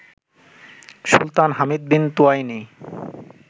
Sultan Hamid bin Thuwaini